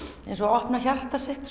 eins og að opna hjarta sitt